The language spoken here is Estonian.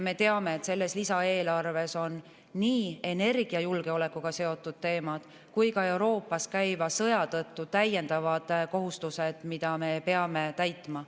Me teame, et selles lisaeelarves on nii energiajulgeolekuga seotud teemad kui ka Euroopas käiva sõja tõttu täiendavad kohustused, mida me peame täitma.